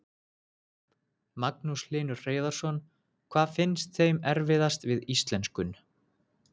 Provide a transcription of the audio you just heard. Magnús Hlynur Hreiðarsson: Hvað finnst þeim erfiðast við íslenskun?